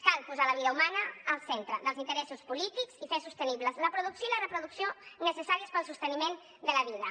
cal posar la vida humana al centre dels interessos polítics i fer sostenibles la producció i reproducció necessàries per al sosteniment de la vida